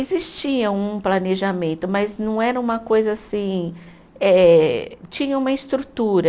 Existia um planejamento, mas não era uma coisa assim. Eh, tinha uma estrutura.